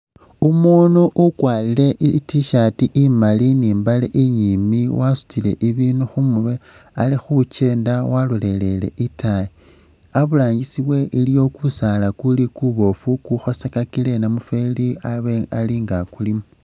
Umuunu ukwarile I't-shirt imaali ni mbale inyiimbi, wasutile ibiinu khumurwe ali khukyenda walolelele itaayi aburangisi we iliyo kusaala kuli kubofu kukhosakakile namufeli abe alinga akulimo